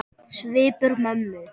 Svipur mömmu